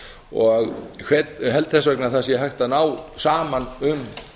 og held þess vegna að það sé hægt að ná saman um